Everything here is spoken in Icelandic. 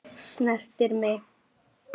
Snertir mig.